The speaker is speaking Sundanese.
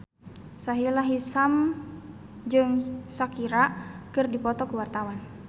Sahila Hisyam jeung Shakira keur dipoto ku wartawan